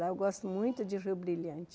Lá eu gosto muito de Rio Brilhante.